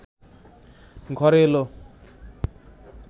ঘরে এল